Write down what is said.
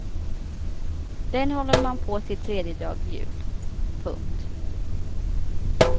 Den håller man på till tredjedag jul. punkt